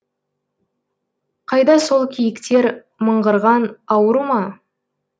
қайда сол киіктер мыңғырған ауру ма